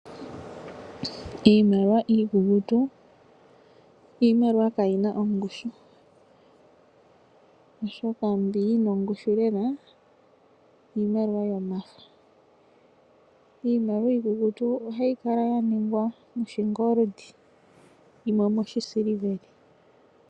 Iimaliwa iikukutu iimaliwa kaayina ongushu, oshoka mbi yina ongushu lela iimaliwa yomafo. Iimaliwa iikukutu ohayi kala ya ningwa moshingoli yimwe omo shisiliveli.